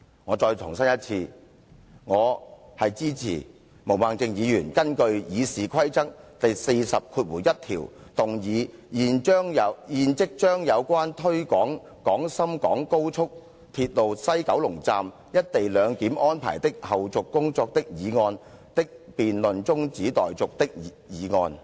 我再次重申，我支持毛孟靜議員根據《議事規則》第401條動議"現即將有關推展廣深港高速鐵路西九龍站'一地兩檢'安排的後續工作的議案的辯論中止待續"的議案，我對此表示支持。